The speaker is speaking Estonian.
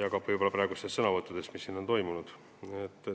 ja ka sõnavõttudest, mis siin on olnud.